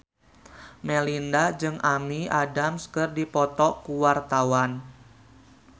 Melinda jeung Amy Adams keur dipoto ku wartawan